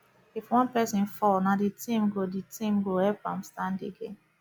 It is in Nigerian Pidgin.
if one person fall na the team go the team go help am stand again